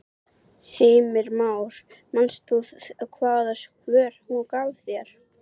Heimir Már: Manst þú hvaða svör hún gaf þér?